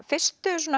fyrstu